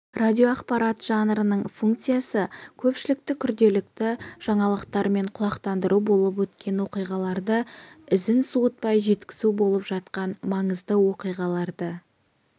радиоақпарат жанрының функциясы көпшілікті күнделікті жаңалықтармен құлақтандыру болып өткен оқиғаларды ізін суытпай жеткізу болып жатқан маңызды оқиғаларды